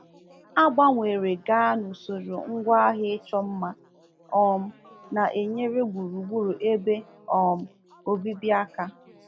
A gbanwere gaa n’usoro ngwaahịa ịchọ mma um na-enyere gburugburu ebe um obibi aka.